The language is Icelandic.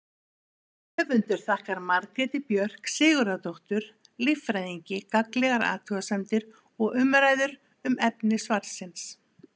Höfundur þakkar Margréti Björk Sigurðardóttur líffræðingi gagnlegar athugasemdir og umræður um efni svarsins.